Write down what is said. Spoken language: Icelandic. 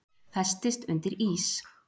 Festist undir ís